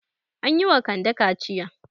An yi wa Kande kaciya.